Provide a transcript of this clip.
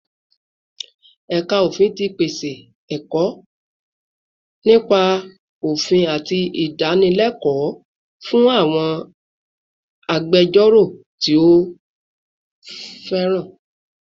Ẹ̀ka Ofin ti pèsè ẹ̀kọ́ nípa òfin àti ìdánilẹ́kọ̀ọ́ fún àwọn agbẹjọ́rò tí ó fẹ́ràn